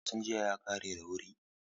Wasan jiya ya ƙare da wuri.